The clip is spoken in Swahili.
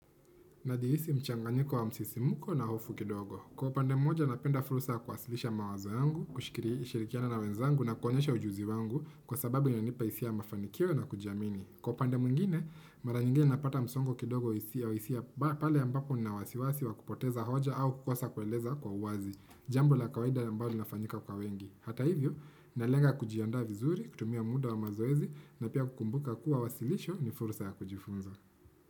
Najihisi mchanganyiko wa msisimuko na hofu kidogo. Kwa upande mmoja napenda fursa ya kuwasilisha mawazo yangu, kushikiri, kushirikiana na wenzangu na kuonyesha ujuzi wangu kwa sababu inanipa hisia ya mafanikio na kujamini. Kwa upande mwingine, mara nyingine napata msongo kidogo hisia pale ambapo nina wasiwasi wa kupoteza hoja au kukosa kueleza kwa uwazi. Jambo la kawaida ambalo linafanyika kwa wengi. Hata hivyo, nalenga kujiandaa vizuri, kutumia muda wa mazoezi na pia kukumbuka kuwa wasilisho ni fursa ya kujifunza.